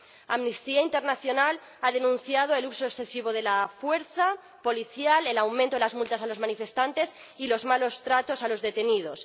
Amnistía Internacional ha denunciado el uso excesivo de la fuerza policial, el aumento de las multas a los manifestantes y los malos tratos a los detenidos.